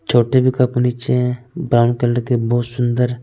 छोटे भी कप पीछे है ब्राउन कलर के बहुत सुंदर--